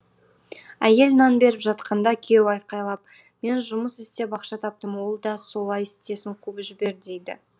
әйел нан беріп жатқанда күйеуі айқайлап мен жұмыс істеп ақша таптым ол да солай істесін қуып жібер дейді